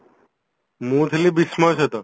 ମୁଁ ଥିଲି ବିଷ୍ମୟ ସହିତ